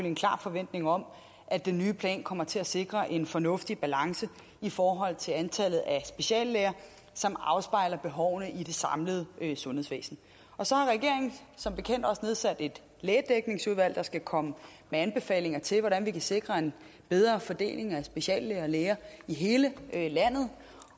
en klar forventning om at den nye plan kommer til at sikre en fornuftig balance i forhold til antallet af speciallæger som afspejler behovene i det samlede sundhedsvæsen så har regeringen som bekendt også nedsat et lægedækningsudvalg der skal komme med anbefalinger til hvordan vi kan sikre en bedre fordeling af speciallæger og læger i hele landet